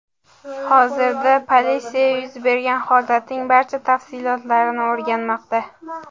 Hozirda polisya yuz bergan holatning barcha tafsilotlarini o‘rganmoqda.